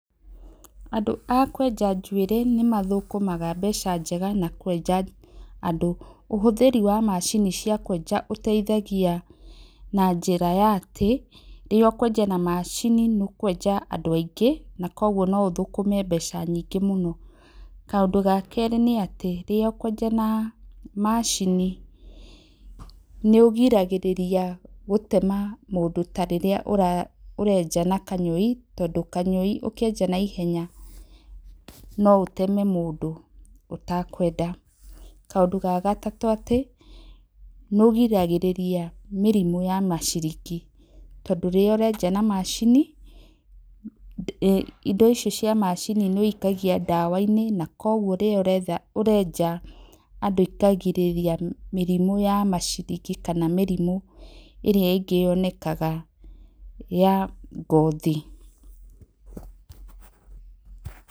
Andũ a kwenja njuĩrĩ nĩmathũkaga mbeca njega ma kwenja andũ. Ũhũthĩri wa macini cia kwenja ũteithagia na njĩra ya atĩ, rĩrĩa ũkwenja na macini, nĩ ũkwenja andũ aingĩ, nakoguo noũthũkũme mbeca nyingĩ mũno. Kaũndũ gakerĩ nĩ atĩ, rĩrĩa ũkwenja na macini, nĩ ũgiragĩrĩria gũtema mũndũ tarĩrĩa ũrenja na kanyũĩ, tondũ kanyũi ũkĩenja na naihenya no ũteme mũndũ ũtakwenda. Kaũndũ ga gatatu, nĩũrigagĩrĩria mũrimũ wa maciringi. Tondũ rĩrĩa ũrenja na macini, indo ici cia macini nĩ ũikagia ndawa. Koguo rĩrĩa ũrenja andũ ĩkagĩrĩrĩgia maciringi kana mĩrimũ ĩria ya ngothi.